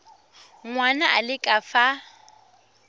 ngwana a le ka fa